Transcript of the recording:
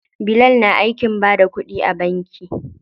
Bilal na aikin bada kuɗi a banki.